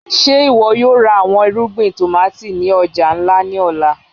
Ṣe iwọ yoo ra awọn irugbin tomati ni ọja nla ni ọla?